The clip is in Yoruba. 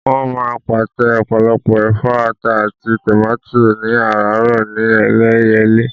Wọ́n máa ń pàtẹ ọ̀pọ̀lọpọ̀ ẹ̀fọ́, ata àti tòmátì ní àràárọ̀ ní Ẹlẹ́yẹlé.